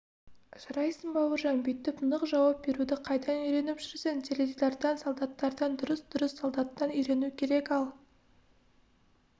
жарайсың бауыржан бүйтіп нық жауап беруді қайдан үйреніп жүрсің теледидардан солдаттардан дұрыс-дұрыс солдаттан үйрену керек ал